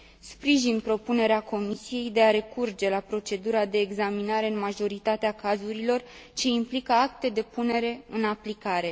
Sprijin propunerea Comisiei de a recurge la procedura de examinare în majoritatea cazurilor ce implică acte de punere în aplicare.